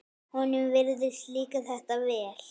Honum virðist líka þetta vel.